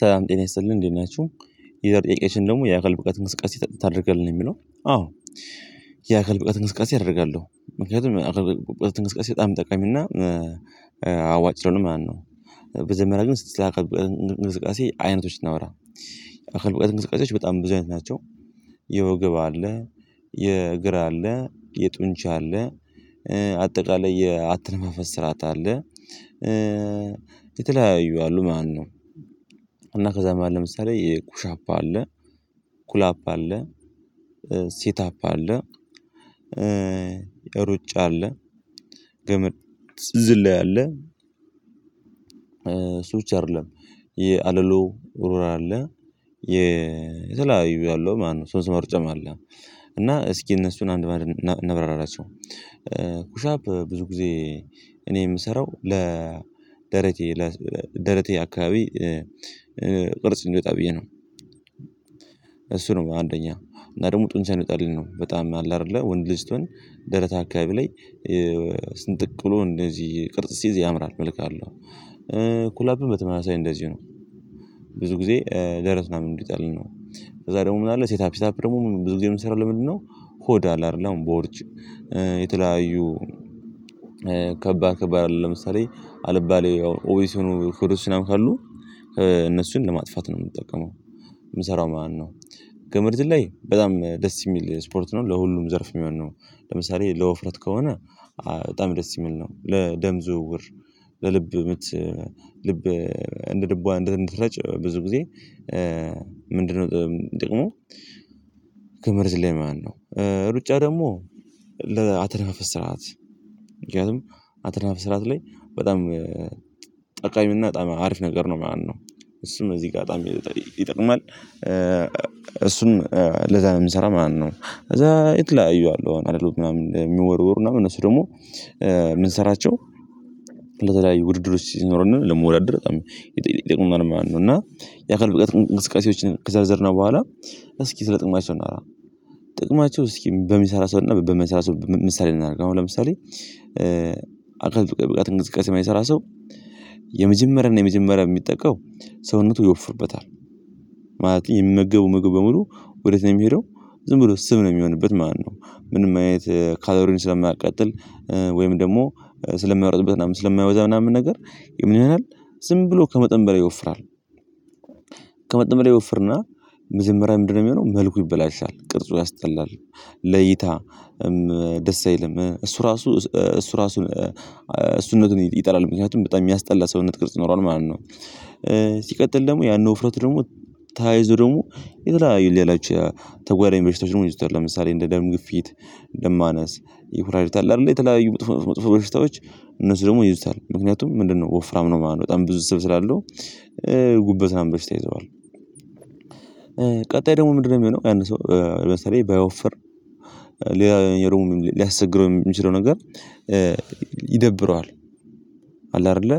ሰላም ጤና ይስጥልን እንዴት ናችሁ? ይሄ ጥያቄሽን ደግሞ የአካል ብቃት እንቅስቃሴ ታደርጋለህ የሚለው አዎ የአካል ብቃት እንቅስቃሴ አደርጋለሁ ምክንያቱም እንቅሰቃሴ በጣም ጠቀሚና አዋጭ ነው። ማነው በመጀመርያ ግን ስለ አካል እንግስቃሴ አይነቶችን እናውራ። እንቅስቃሴዎች በጣም ብዙ አይነት ናቸው። የወገብ አለ የእግር አለ የጡንቻ አለ አጠቃላይ አተነፋፈስ ስርዓት አለ የተለያዩ አሉ ማለት ነው። እና ከዛም መሃል ለምሳሌ የኩሻፕ ኩላፕ አለ ሴት አፕ አለ ሩጫ አለ ግመድ ዝላይ አለ። ሰዎች አይደለም የአለሉ ኡሩራ አለ የተለያዩ ያለው ማነው ሶስት መርጨም አለ እና እስኪ እነሱን አንድ ማድረግ እናብራራቸው። ኩሻፕ ብዙ ጊዜ እኔ የምሰራው ለደረቴ ደረቴ አካባቢ ቅርጽ እንዲወጣ ብዬ ነው። እሱ ነው አንደኛ እና ደግሞ ጡንሻን እንዲወጣሊኝ ነው በጣም አለ አይደለ ወንድ ልጅ ስትሆን ደረታ አካባቢ ላይ ስንጥቅ ብሎ እንደዚህ ቅርጽ ሲይዝ ያምራል መልክ አለው። ኩላፕም በተመሳሳይ እንደዚህ ነው ብዙ ጊዜ ደረት ምን እንደሚጣል ነው። ከዛ ደግሞ ምን አለ ሴት አፕ ሴት አፕ ደግሞ ብዙ ጊዜ የምሰራው ለምንድነው? ሆዳል አይደለ አሁን ቦርጭ የተለያዩ ከባድከባድ ለምሳሌ አልባሌ ኦዊስ ሆኖ ፍሩሽን ካሉ እነሱን ለማጥፋት ነው የምንጠቀመው። የምሰራው ማነው ገመድ ዝላይ በጣም ደስ የሚል ስፖርት ነው ለሁሉም ዘርፍ የሚሆን ነው። ለምሳሌ ለውፍረት ከሆነ በጣም ደስ የሚል ነው ለደም ዝውውር ለልብ ምት ልብ እንደ ልቧ እንደ ደም እንድትረጭ ብዙ ጊዜ ምንድነው ጥቅሙ? ገመድ ዝላይ ማለት ነው። ሩጫ ደግሞ ለአተነፋፈስ ስርዓት ምክንያቱም አተነፋፈስ ስርዓት ላይ በጣም ጠቃሚና አሪፍ ነገር ነው ማነው። እሱም እዚህ ጋር ይጠቅማል እሱም ለዛ የምንሰራ ማለት ነው። ከዛ የተለያዩ አሉ ኣለሎ የሚወርወሩ ምናምን እነሱ ደግሞ የምንሰራቸው። ለተለያዩ ውድድር ውስጥ ሲኖረን ለመወዳደር በጣም የጠቅሙናል ማነው እና የአካል ብቃት እንቅስቃሴዎችን ከዘርዝርነው በኋላ እስኪ ስለ ጥቅማቸው እናውራ። ጥቅማቸው እስኪ በሚሰራ ሰው እና በማይሰራ ሰው ምሳሌ እናደርግ አሁን ለምሳሌ አካባቢ ብቃት እንቅስቃሴ የማይሰራ ሰው የመጀመሪያን የመጀመሪያ የሚጠቃው ሰውነቱ ይወፍርበታል። ማለት የሚመገቡ ምግብ በሙሉ ወዴት ነው የሚሄደው ዝም ብሎ ስብ ነው የሚሆንበት ማለት ነው። ምንም አይነት ካሎሪን ስለማያቀጥል ወይም ደግሞ ስለማሮጥበት ምናምን ነገር ስለማያወዛ ምናምን ነገር የምንለው ዝም ብሎ ከመጠን በላይ ይወፍራል። ከመጠን በላይ ይወፍርና መጀመርያ ምንድነው የሚሆነው መልኩ ይበላሻል ቅርጹ ያስጠላል። ለይታ ደስ አይልም እሱ ራሱ እሱ ራሱን እሱን ነው ይጠላል ምክንያቱም በጣም የሚያስጠላ ሰውነት ቅርጽ ይኖሯል ማለት ነው። ሲቀጥል ደግሞ ያን ወፍረት ደግሞ ታይዙ ደግሞ የተለያዩ ሌላችሁ ተጓዳይ በሽታዎች ወይም ይዞታል ለምሳሌ እንደ ደም ግፊት ደም ማነስ ይሁራጅታል አይደለ የተለያዩ መጥፎ መጥፎ መስጠታዎች እነሱ ደግሞ ይይዙታል ምክንያቱም ምንድነው ወፍራም ነው የማደርገው በጣም ብዙ ስብ ስላለው ጉበት ምናምን ይይዘዋል። ቀጣይ ደግሞ ምንድነው የሚሆነው ያን ሰው ለምሳሌ ባይወፍር ሌላ የሮም ሊያስቸግረው የሚችለው ነገር ይደብረዋል። አለ አይደለ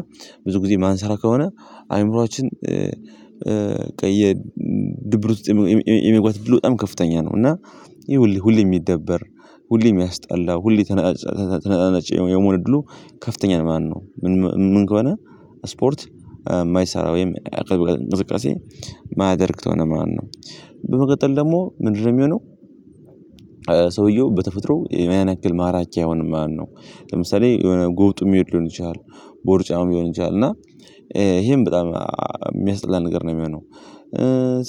ብዙ ጊዜ ማንሰራ ከሆነ አእምሮአችን ከየድብርት ውስጥ የመግባት እድሉ በጣም ከፍተኛ ነው እና ሁሌ ሁሌ የሚደበር ሁሌም የሚያስጠላ ሁሌ ተነጣጣጭ የመሆን እድሉ ከፍተኛ ማለት ነው። ምን ከሆነ ስፖርት የማይሰራ ወይም የአካል እንቅስቃሴ ማደርግ ከሆነ ማነው በመቀጠል ደግሞ ምንድነው የሚሆነው። ሰውየው በተፈጥሮ የማያነክል ማራኪያውን ማለት ነው ለምሳሌ የሆነ ጎብጦ የሚሄድ ሊሆን ይችላል ቦርጫም ሊሆን ይችላል እና ይሄን በጣም የሚያስጥላ ነገር ነው የሚሆነው።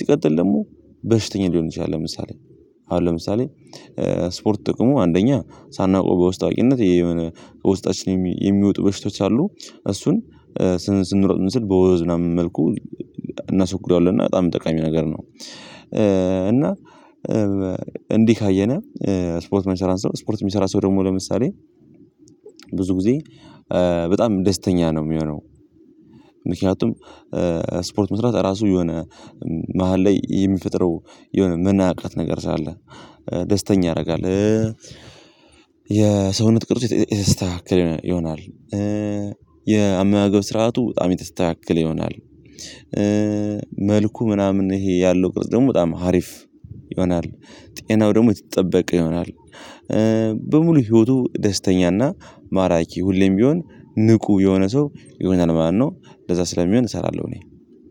ሲቀጥል ደግሞ በሽተኛ ሊሆን ይችላል ለምሳሌ አሁን ለምሳሌ ስፖርት ጥቅሙ አንደኛ ሳናውቀው በውስጣዊነት የሆነ ውስጣችን የሚወጡ በሽቶች አሉ እሱን ስንሮጥ በወዝ ምናምን መልኩ እናስወግደዋለን እና በጣም ጠቃሚ ነገር ነው። እና እንዲህ ካየነህ ስፖርት መሰራት ስፖርት የሚሰራ ሰው ደግሞ ለምሳሌ ብዙ ጊዜ በጣም ደስተኛ ነው የሚሆነው ምክንያቱም ስፖርት መስራት ራሱ የሆነ መሃል ላይ የሚፈጥረው የሆነ መናቀቅ ነገር ሳለ ደስተኛ ያደርጋል። የሰውነት ቅርጽ የስተካከል ይሆናል። የአመጋገብ ስርዓቱ በጣም የተስተካከለ ይሆናል። መልኩ ምናምን ይሄ ያለው ቅርጽ ደግሞ በጣም ሀሪፍ ይሆናል ጤናው ደግሞ የተጠበቀ ይሆናል። በሙሉ ህይወቱ ደስተኛና ማራኪ ሁሌም ቢሆን ንቁ የሆነ ሰው ይሆናል ማለት ነው። ለዛ ስለሚሆን እሰራለሁ እኔ